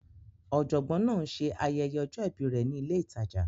Ọ̀jọ̀gbọ́n náà ń ṣe ayẹyẹ ọjọ́ ìbí rẹ̀ ní ilé ìtajà.